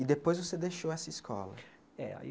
E depois você deixou essa escola. É aí